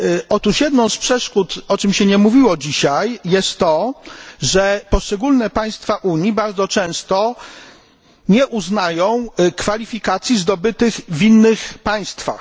Otóż jedną z przeszkód, o czym się nie mówiło dzisiaj, jest to, że poszczególne państwa Unii bardzo często nie uznają kwalifikacji zdobytych w innych państwach.